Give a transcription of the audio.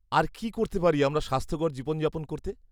-আর কী করতে পারি আমরা স্বাস্থ্যকর জীবনযাপন করতে?